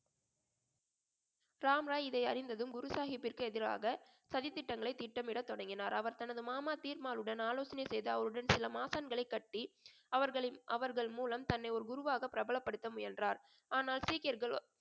ராம்ராய் இதை அறிந்ததும் குரு சாஹிப்பிற்கு எதிராக சதித்திட்டங்களை திட்டமிட தொடங்கினார் அவர் தனது மாமா தீர்மாலுடன் ஆலோசனை செய்து அவருடன் சில மாசான்களை கட்டி அவர்களின் அவர்கள் மூலம் தன்னை ஒரு குருவாக பிரபலப்படுத்த முயன்றார் ஆனால் சீக்கியர்கள்